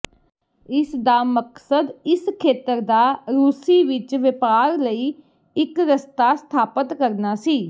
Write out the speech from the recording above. ਇਸ ਦਾ ਮਕਸਦ ਇਸ ਖੇਤਰ ਦਾ ਰੂਸੀ ਵਿਚ ਵਪਾਰ ਲਈ ਇੱਕ ਰਸਤਾ ਸਥਾਪਤ ਕਰਨਾ ਸੀ